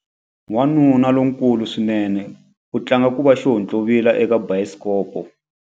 Wanuna lonkulu swinene u tlanga ku va xihontlovila eka bayisikopo.